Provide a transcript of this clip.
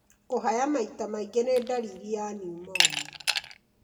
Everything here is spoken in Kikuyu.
Kũhaya maita maingĩ nĩ ndariri ya pneumonia.